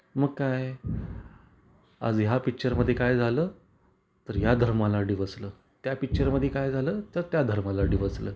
मग काय आज या पिक्चर मध्ये काय झालं तर या धर्माला डिवचलं, त्या पिक्चर मध्ये काय झालं तर त्या धर्माला डिवचलं.